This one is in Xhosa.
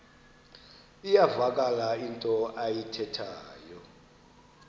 iyavakala into ayithethayo